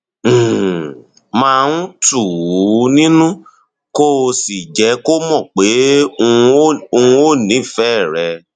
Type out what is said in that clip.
um máa um tù ú nínú kó o sì jẹ kó mọ pé um o nífẹẹ rẹ